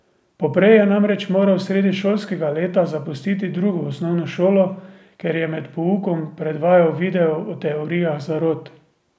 Poprej je namreč moral sredi šolskega leta zapustiti drugo osnovno šolo, ker je med poukom predvajal video o teorijah zarot.